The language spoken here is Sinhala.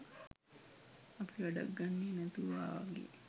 අපි වැඩක් ගන්නෙ නැතුවා වගේ